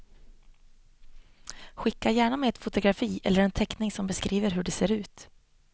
Skicka gärna med ett fotografi eller en teckning som beskriver hur det ser ut.